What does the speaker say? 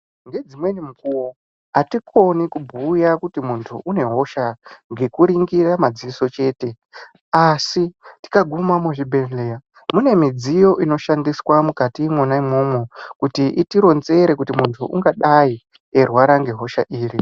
Nedzimweni mukuwo hatikoni kubhuya kuti muntu une hosha nekuningira madziso chete asi tikaguma muzvibhehleya mune midziyo inoshandiswa mukatimo imomo kuti muntu ungadai eirwara nehosha iri.